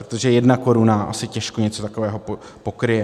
Protože jedna koruna asi těžko něco takového pokryje.